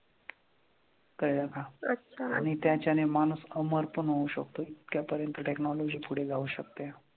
कळलं का? आनि त्याच्याने मानूस अमर पन होऊ शकतो इतक्या पर्यंत technology पुढे जाऊ शकते